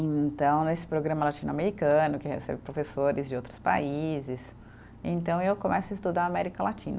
E então, nesse programa latino-americano, que recebe professores de outros países, então eu começo a estudar América Latina.